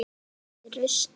Kviknað í rusli?